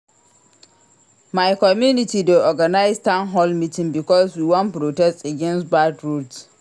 My community dey organize town hall meeting because we wan protest against bad roads.